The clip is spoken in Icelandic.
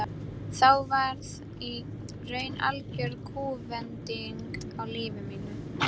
Þá varð í raun algjör kúvending á lífi mínu.